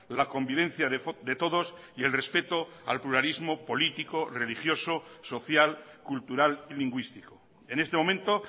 la convivencia de todos y el respeto al pluralismo político religioso social cultural y lingüístico en este momento